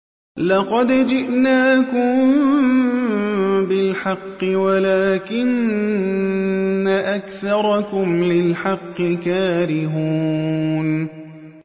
لَقَدْ جِئْنَاكُم بِالْحَقِّ وَلَٰكِنَّ أَكْثَرَكُمْ لِلْحَقِّ كَارِهُونَ